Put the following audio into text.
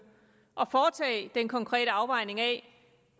at foretage den konkrete afvejning af